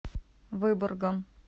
выборгом